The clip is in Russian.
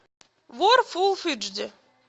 вор фул эйч ди